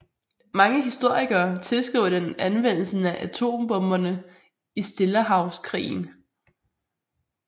Mange historikere tilskriver den anvendelsen af atombomberne i Stillehavskrigen